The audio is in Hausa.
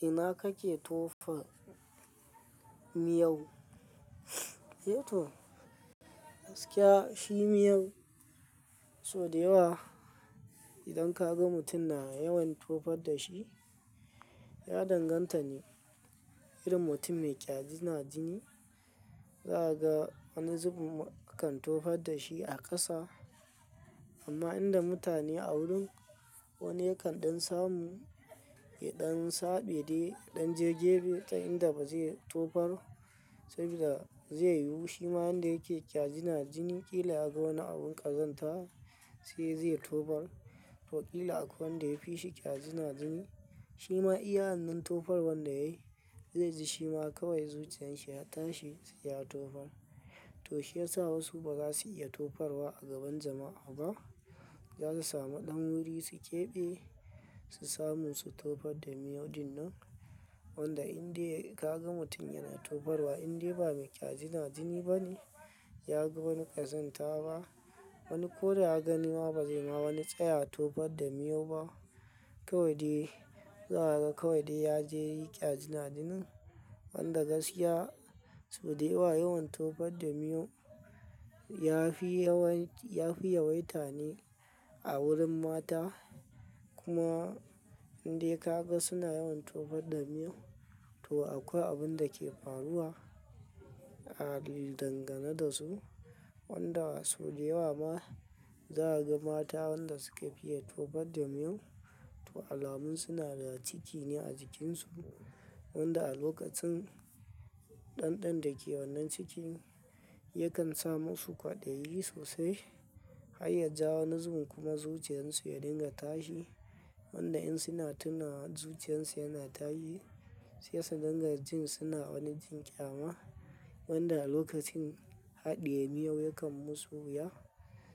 Ina kake tofa miyau? Eh to, gaskiya shi miyar sau da yawa idan kaga mutum na yawan tofar dashi, ya danganta ne irin mutum mai ƙyazina jini. Za a ga wani zubun mukan tofar dashi a ƙasa. Amma inda mutane a wurin wani yakan samu yaɗan saɓe de, ɗan jageɓe ta inda bazai tofar saboda zai yi wushi ma inda yake ƙyazina jini. Kila yaga wani abun ƙazanta sai zai tofar. Wakili akwai wanda yafi shi ƙyazina jini, shima iya wannan tofar wanda yayi zaiji shima kawai zuciyan shi ya tashi sai ya tofar. To shiyasa wasu bazasu iya tofarwa a gaban jama'a ba. Zasu sami ɗan wuri su ƙebe, su samu su tofar da miyo dinnan. Wanda indai kaga mutum yana tofarwa indai ba mai ƙyazina jini bane, yaga wani ƙazanta ba. Wani koda ya gani ma bazai ma wani tsayawa tofarda miyo ba. Kowai dai za a ga kawai dai yaje yi ƙyazina jinin. Wanda gaskiya sau da yawa yawan tofar da miyo yafi yawaita ne a wurin mata. Kuma indai kaga suna yawan tofar da miyo, to akwai abunda ke faruwa a dangane dasu. Wanda sau dayawa ma za a ga mata wanda sukafi iya tofar da miyo, to alamun suna da ciki ne a jikinsu. Wanda a lokacin ɗanɗan da ke wannan cikin, yakan sa masu kwaɗayi sosai. Har yaja wani zubun kuma zuciyan su ya dinga tashi. Wanda in suna tuna zuciyan su yana tashi, sai su dinga jin suna wani jin ƙyama. Wanda a lokacin haɗiye miyo yakan musu wuya.